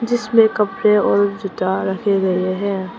जिसमें कपड़े और जूता रखे गए हैं।